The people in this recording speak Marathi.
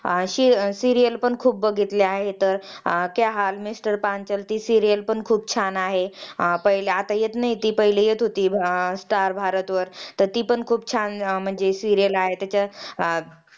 अशी serial पण खूप बघितली आहेत हा कि क्या हाल मिस्टर पांचाळ पण खूप छान आहे अं पहिला आता येत नाही ती पहिला येत होती star भारतवर तर ती पण खूप छान serial आहे त्याच्यात